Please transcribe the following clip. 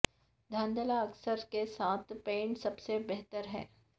دھندلا اثر کے ساتھ پینٹ سب سے بہتر ہے